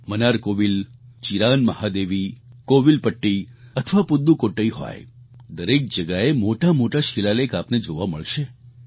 મનારકોવિલ ચિરાન મહાદેવી કોવિલપટ્ટી અથવા પુદ્દુકોટ્ટઈ હોય દરેક જગ્યાએ મોટામોટા શિલાલેખ આપને જોવા મળશે